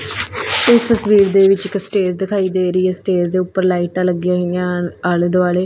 ਇੱਸ ਤਸਵੀਰ ਦੇ ਵਿੱਚ ਇੱਕ ਸਟੇਜ ਦਿਖਾਈ ਦੇ ਰਹੀ ਹੈ ਸਟੇਜ ਦੇ ਊਪਰ ਲਾਈਟਾਂ ਲੱਗੀਆਂ ਹੋਈਆਂ ਹਨ ਆਲ਼ੇ ਦੁਆਲ਼ੇ।